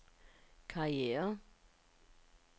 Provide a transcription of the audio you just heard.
karriere